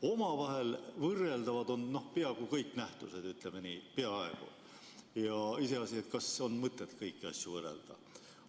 Omavahel võrreldavad on peaaegu kõik nähtused, ütleme nii, peaaegu, iseasi, kas on mõtet kõiki asju võrrelda.